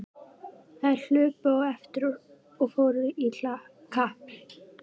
Þær hlupu á eftir og fóru í kapp.